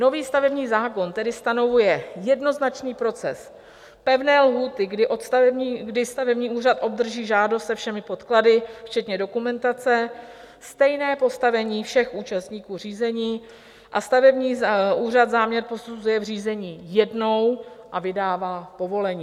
Nový stavební zákon tedy stanovuje jednoznačný proces, pevné lhůty, kdy stavební úřad obdrží žádost se všemi podklady, včetně dokumentace, stejné postavení všech účastníků řízení a stavební úřad záměr posuzuje v řízení jednou a vydává povolení.